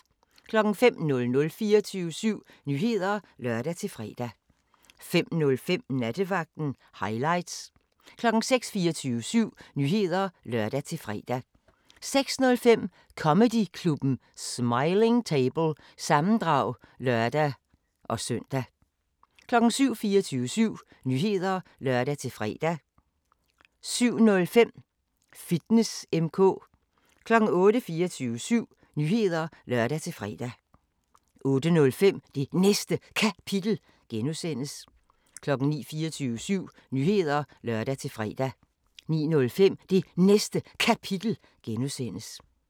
05:00: 24syv Nyheder (lør-fre) 05:05: Nattevagten Highlights 06:00: 24syv Nyheder (lør-fre) 06:05: Comedyklubben Smiling Table – sammendrag (lør-søn) 07:00: 24syv Nyheder (lør-fre) 07:05: Fitness M/K 08:00: 24syv Nyheder (lør-fre) 08:05: Det Næste Kapitel (G) 09:00: 24syv Nyheder (lør-fre) 09:05: Det Næste Kapitel (G)